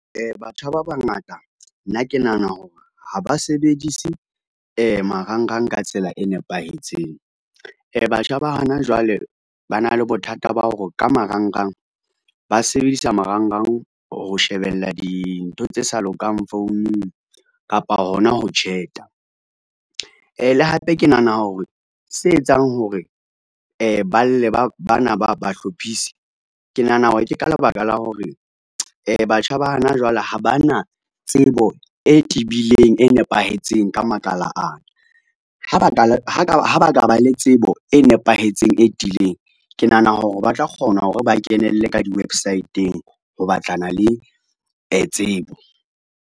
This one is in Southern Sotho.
Batjha ba bangata nna ke nahana hore ha ba sebedise marangrang ka tsela e nepahetseng. Batjha ba hona jwale ba na le bothata ba ho ka marangrang, ba sebedisa marangrang ho shebella dintho tse sa lokang founung kapa hona ho chat-a. Le hape ke nahana hore se etsang hore ba lle bana bahlophisi, ke nahana hore ke ka lebaka la hore batjha ba hana jwale ha ba na tsebo e tibileng e nepahetseng ka makala ana, ha ba ka ba le tsebo e nepahetseng e tiileng, ke nahana hore ba tla kgona hore ba kenelle ka di-website-eng ho batlana le tsebo.